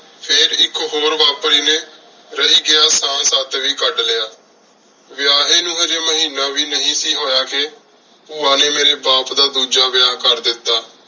ਫੇਰ ਇਕ ਹੋਰ ਵਾਪਰੀ ਨੀ ਕਦ ਲ੍ਯ ਵੇਯਾਹ੍ਯ ਨੂ ਹਾਜੀ ਮਹੀਨਾ ਵੀ ਨਾਈ ਸੀ ਹੋਯਾ ਕ ਪੁਵਾ ਨੀ ਮੇਰੀ ਬਾਪ ਦਾ ਦੂਜਾ ਵੇਯ ਕਰ ਦਿਤਾ